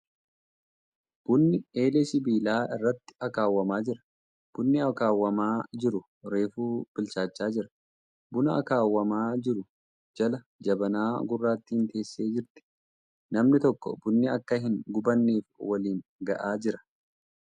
Bunni eelee sibiilaa irratti akaawwamaa jira. Bunni akaawwamaa jiru reefu bilchaachaa jira. Buna akaawwamaa jiru jala jabanaa gurraattiin teessee jirti. Namni tokko bunni akka hin gubanneef waliin ga'aa jira .